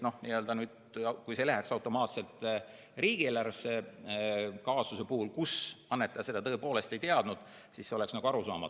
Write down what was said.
Kui see läheks automaatselt riigieelarvesse, kaasuse puhul, kus annetaja seda tõepoolest ei teadnud, siis see oleks nagu arusaamatu.